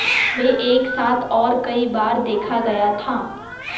वे एक साथ और कई बार देखा गया था